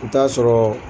I bi t'a sɔrɔ